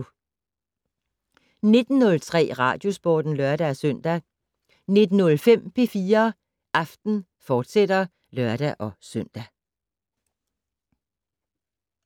19:03: Radiosporten (lør-søn) 19:05: P4 Aften, fortsat (lør-søn)